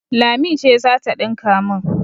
Lami ce za ta ɗinka min.